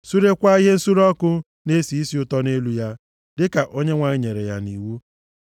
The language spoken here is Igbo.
surekwaa ihe nsure ọkụ na-esi isi ụtọ nʼelu ya, dịka Onyenwe anyị nyere ya nʼiwu.